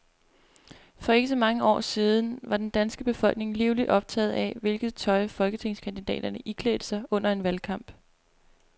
For ikke så mange år siden var den danske befolkning livligt optaget af, hvilket tøj folketingskandidaterne iklædte sig under en valgkamp.